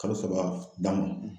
Kalo saba da